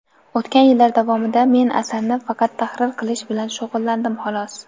O‘tgan yillar davomida men asarni faqat tahrir qilish bilan shug‘ullandim, xolos.